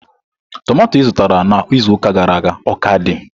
Tomato izụtara na izuụka gara aga o ka dị?